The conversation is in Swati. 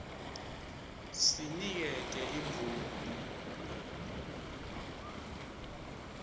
c sinikete imvumo